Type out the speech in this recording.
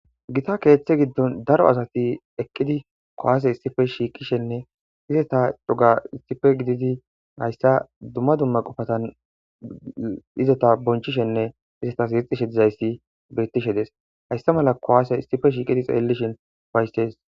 gita keeththe giddon daro asati eqqidi kowaase issife shiiqishenne izeta cuga issife gididi hayssa dumma dumma qofatan izota bonchishenne izetas yixishe dizayssi bettishe des hayssa mala kowaase issife shiiqidi xeellishin waysses